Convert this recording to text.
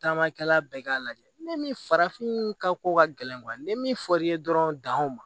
Taamakɛla bɛɛ k'a lajɛ ni min farafin ka ko ka gɛlɛn ni min fɔr'i ye dɔrɔn danw